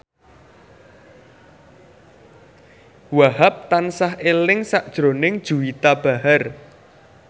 Wahhab tansah eling sakjroning Juwita Bahar